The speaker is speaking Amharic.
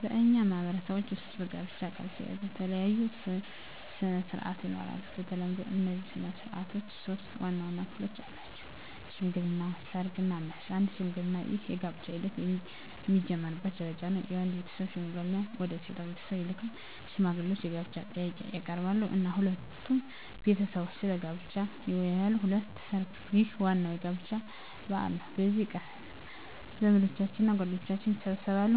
በእኛ ማህበረሰቦች ውስጥ ከጋብቻ ጋር የተያያዙ የተለያዩ ሥነ ሥርዓቶች ይኖራሉ። በተለምዶ እነዚህ ሥነ ሥርዓቶች ሶስት ዋና ዋና ክፍሎች አላቸው፦ ሽምግልና፣ ሰርግ እና መልስ። 1. ሽምግልና ይህ የጋብቻ ሂደት የሚጀምርበት ደረጃ ነው። የወንድ ቤተሰብ ሽማግሌዎችን ወደ ሴት ቤተሰብ ይልካሉ። ሽማግሌዎቹ የጋብቻ ጥያቄን ያቀርባሉ እና ሁለቱ ቤተሰቦች ስለ ጋብቻው ይወያያሉ። 2. ሰርግ ይህ ዋናው የጋብቻ በዓል ነው። በዚህ ቀን ዘመዶችና ጓደኞች ይሰበሰባሉ፣